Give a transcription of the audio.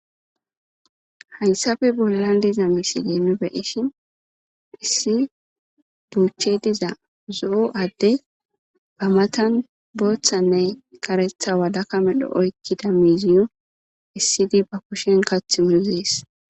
Haysappe bollan diza misile nu beyishin issi buchey diza zo'o adeyi a matani boothanne karetha malaka medho oykida miiziyo esid ba kusheni kathi muzesi.